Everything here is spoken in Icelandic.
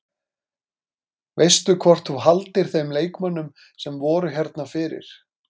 Veistu hvort þú haldir þeim leikmönnum sem voru hérna fyrir?